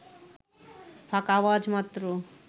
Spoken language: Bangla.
ফাঁকা আওয়াজ মাত্র